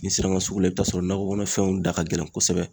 N'i sera ka sugu la i bɛ t'a sɔrɔ nakɔkɔnɔ fɛnw da ka gɛlɛn kosɛbɛ.